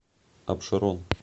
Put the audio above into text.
абшерон